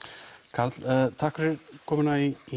karl takk fyrir komuna í